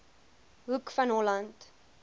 hoek van holland